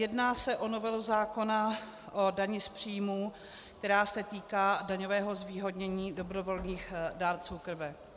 Jedná se o novelu zákona o dani z příjmů, která se týká daňového zvýhodnění dobrovolných dárců krve.